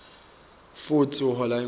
futsi uhola imali